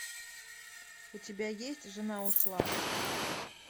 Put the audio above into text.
у тебя есть жена ушла